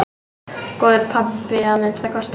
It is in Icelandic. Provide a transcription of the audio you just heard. Góður pabbi að minnsta kosti.